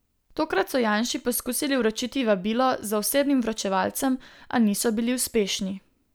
Tokrat so Janši poskusili vročiti vabilo z osebnim vročevalcem, a niso bili uspešni.